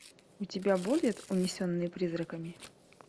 у тебя будет унесенные призраками